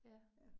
Ja